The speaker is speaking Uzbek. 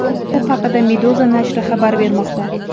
Bu haqda Meduza nashri xabar bermoqda.